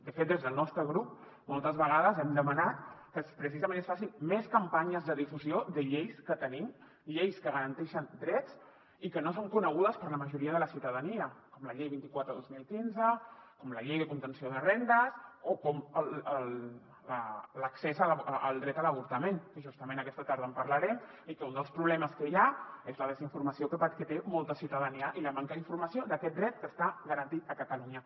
de fet des del nostre grup moltes vegades hem demanat que precisament es facin més campanyes de difusió de lleis que tenim lleis que garanteixen drets i que no són conegudes per la majoria de la ciutadania com la llei vint quatre dos mil quinze com la llei de contenció de rendes o com l’accés al dret a l’avortament que justament aquesta tarda en parlarem i que un dels problemes que hi ha és la desinformació que té molta ciu·tadania i la manca d’informació d’aquest dret que està garantit a catalunya